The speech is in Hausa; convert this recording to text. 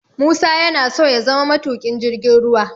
Musa yana so ya zama matuƙin jirgin ruwa